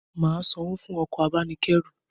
Màa sanwó fún okò abánikérù